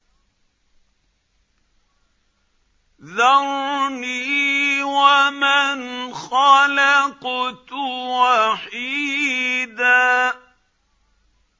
ذَرْنِي وَمَنْ خَلَقْتُ وَحِيدًا